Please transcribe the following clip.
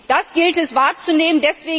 Das gilt es wahrzunehmen.